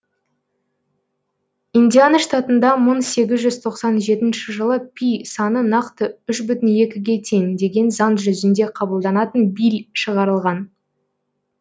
индиана штатында мың сегіз жүз тоқсан жетінші жылы пи саны нақты үш бүтін екіге тең деген заң жүзінде қабылданатын билль шығарылған